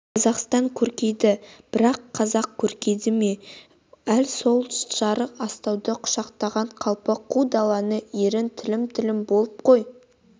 қазақстан көркейді бірақ қазақ көркейді ме әл сол жарық астауды құшақтаған қалпы қу далада ерін тілім-тілім боп қой